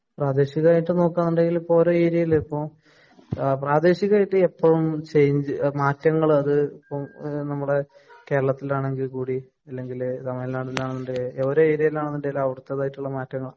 പ്രാദേശികമായിട്ട് നോക്കുകയാണെങ്കില്‍ ഇപ്പൊ ഓരോ ഏരിയയില് പ്രാദേശികമായിട്ട് എപ്പോ ചേഞ്ച്‌ മാറ്റങ്ങള് അതിപ്പം നമ്മടെകേരളത്തില്‍ ആണെങ്കില്‍ കൂടി അല്ലെങ്കില്‍ തമിഴ് നാടിന്‍റെ ആണേ ഉണ്ടേ, ഒരു ഏരിയയില് അവിടത്തതായിട്ടുള്ള മാറ്റങ്ങള്‍